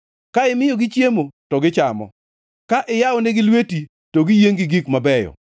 Ka imiyogi chiemo, to gichamo; ka iyawonegi lweti, to giyiengʼ gi gik mabeyo;